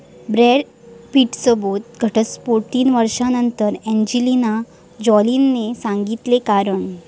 Brad पिटसोबत घटस्फोट, तीन वर्षांनंतर एंजेलिना जोलीनं सांगितलं कारण